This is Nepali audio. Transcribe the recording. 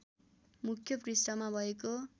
मुख्य पृष्ठमा भएको